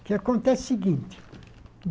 O que acontece é o seguinte.